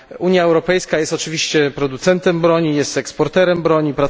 Unia Europejska jest oczywiście producentem i eksporterem broni.